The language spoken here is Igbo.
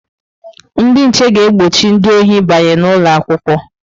Ndị nche ga-egbochi ndị ohi ịbanye n'ụlọ akwụkwọ.